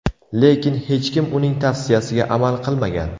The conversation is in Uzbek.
Lekin hech kim uning tavsiyasiga amal qilmagan.